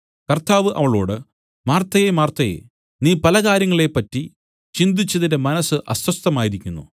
കർത്താവ് അവളോട് മാർത്തയേ മാർത്തയേ നീ പലകാര്യങ്ങളെ പറ്റി ചിന്തിച്ച് നിന്റെ മനസ്സ് അസ്വസ്ഥമായിരിക്കുന്നു